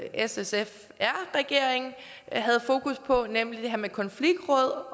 s sf r regering havde fokus på nemlig det her med konfliktråd